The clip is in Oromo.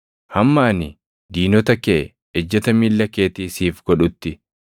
hamma ani diinota kee ejjeta miilla keetii siif godhutti.” ’+ 2:35 \+xt Far 110:1\+xt*